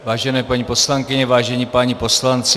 Vážené paní poslankyně, vážení páni poslanci.